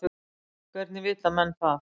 Hvernig vita menn það?